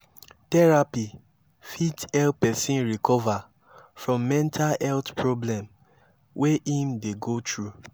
therapy fit help person recover from mental health problem wey im dey go through